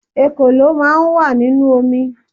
Ekòló máà ń wà nínú omi